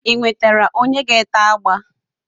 Ị nwetara onye na-ete agba?